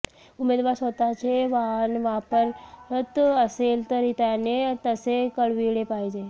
उमेदवार स्वतःचे वाहन वापरत असेल तर त्याने तसे कळविले पाहिजे